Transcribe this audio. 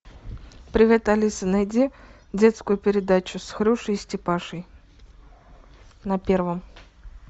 привет алиса найди детскую передачу с хрюшей и степашей на первом